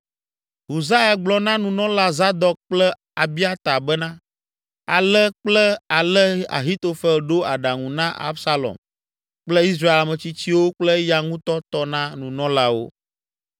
Husai gblɔ na nunɔla Zadok kple Abiata bena; Ale kple ale Ahitofel ɖo aɖaŋu na Absalom kple Israel ametsitsiwo kple eya ŋutɔ tɔ na nunɔlawo.